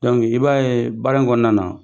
n'i b'a ye baara in kɔnɔna na